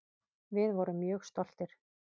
Við vorum mjög stoltir.